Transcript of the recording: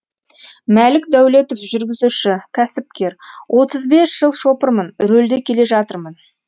мәлік дәулетов жүргізуші кәсіпкер отыз бес жыл шопырмын рөлде келе жатырмын